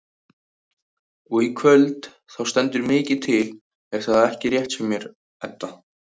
Og í kvöld þá stendur mikið til er það ekki rétt hjá mér Edda?